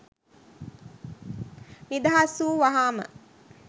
නිදහස් වූ වහාම